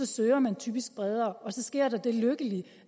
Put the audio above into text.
søger man typisk bredere så sker der det lykkelige